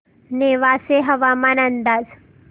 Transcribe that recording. नेवासे हवामान अंदाज